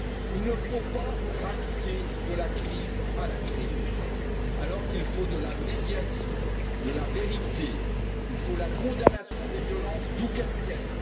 Il ne faut pas rajouter de la crise à la crise, alors qu'il faut de la médiation et de la vérité. Il faut condamner les violences d'où qu'elles viennent.